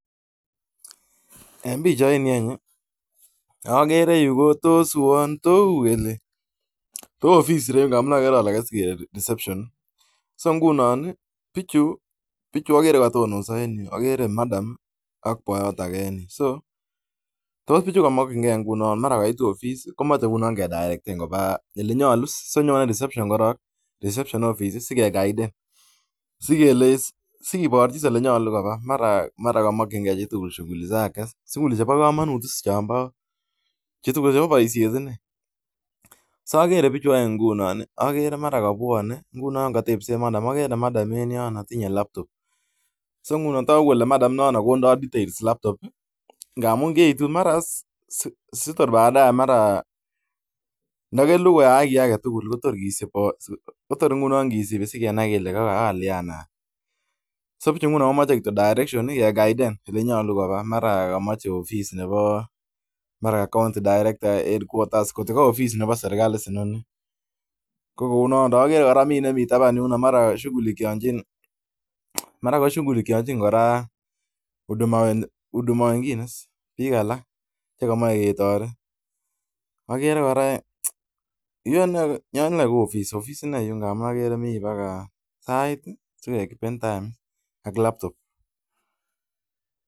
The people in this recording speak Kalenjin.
Ofis reu, agere Madam ak boiyot age. Tos pichu iman ko mache kegochi direction ele nyalu.